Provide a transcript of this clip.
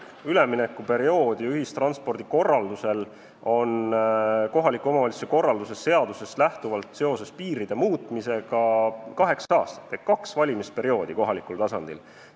Üleminekuperiood ühistranspordi ümberkorraldamiseks on kohaliku omavalitsuse korralduse seadusest lähtuvalt seoses piiride muutmisega kaheksa aastat ehk kaks valimisperioodi kohalikul tasandil.